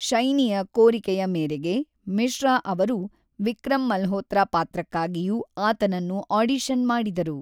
ಶೈನಿಯ ಕೋರಿಕೆಯ ಮೇರೆಗೆ, ಮಿಶ್ರಾ ಅವರು ವಿಕ್ರಮ್ ಮಲ್ಹೋತ್ರಾ ಪಾತ್ರಕ್ಕಾಗಿಯೂ ಆತನನ್ನು ಆಡಿಷನ್ ಮಾಡಿದರು.